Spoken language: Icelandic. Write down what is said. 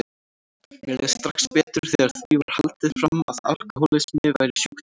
Mér leið strax betur þegar því var haldið fram að alkohólismi væri sjúkdómur.